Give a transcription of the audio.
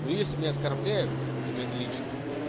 ну если меня оскорбляют и на это личное